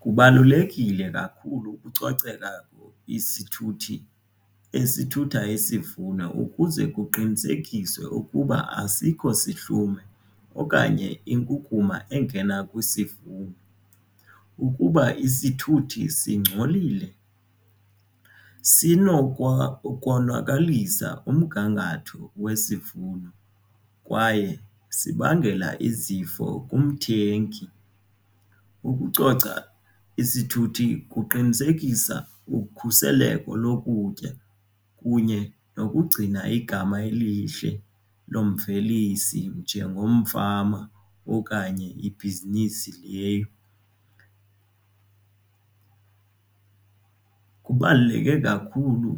Kubalulekile kakhulu ukucoceka isithuthi esithutha isivuno ukuze kuqinisekiswe ukuba asikho sihlumo okanye inkukuma engena kwisivuno. Kkuba isithuthi singcolile sinokonakalisa umgangatho wesivuno kwaye sibangela izifo kumthengi. Ukucoca isithuthi kuqinisekisa ukhuseleko lokutya kunye nokugcina igama elihle lemvelisi njengomfama okanye ibhizinisi leyo. Kubaluleke kakhulu